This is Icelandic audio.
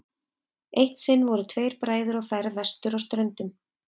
eitt sinn voru tveir bræður á ferð vestur á ströndum